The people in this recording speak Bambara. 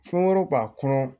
Fɛn wɛrɛw b'a kɔnɔ